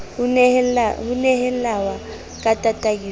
ho nehelawe ka tataiso ho